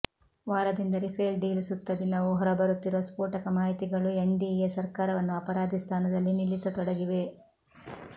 ವಾರದಿಂದ Rafale deal ಸುತ್ತ ದಿನವೂ ಹೊರಬರುತ್ತಿರುವ ಸ್ಪೋಟಕ ಮಾಹಿತಿಗಳು ಎನ್ಡಿಎ ಸರ್ಕಾರವನ್ನುಅಪರಾಧಿ ಸ್ಥಾನದಲ್ಲಿ ನಿಲ್ಲಿಸತೊಡಗಿವೆ